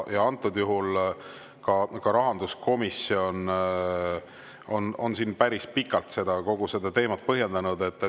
Antud juhul on rahanduskomisjon päris pikalt kogu seda teemat põhjendanud.